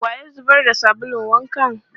Wa ya zubar da sabulun wankan?